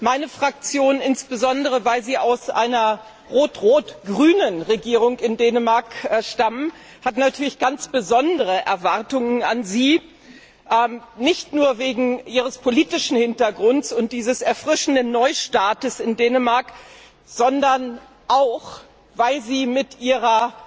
Meine Fraktion insbesondere weil Sie aus einer rot rot grünen Regierung in Dänemark stammen hat natürlich ganz besondere Erwartungen an Sie, nicht nur wegen Ihres politischen Hintergrunds und dieses erfrischenden Neustarts in Dänemark, sondern auch, weil sie mit Ihrer